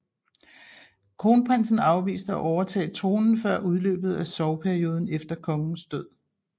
Kronprinsen afviste at overtage tronen før udløbet af sorgperioden efter kongens død